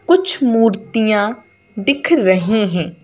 कुछ मूर्तियां दिख रही हैं।